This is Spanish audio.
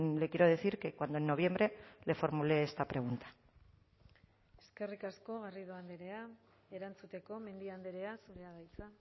le quiero decir que cuando en noviembre le formulé esta pregunta eskerrik asko garrido andrea erantzuteko mendia andrea zurea da hitza